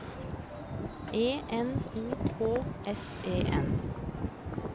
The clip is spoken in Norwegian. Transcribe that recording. E N O K S E N